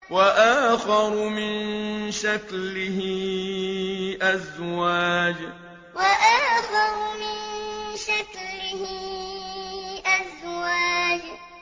وَآخَرُ مِن شَكْلِهِ أَزْوَاجٌ وَآخَرُ مِن شَكْلِهِ أَزْوَاجٌ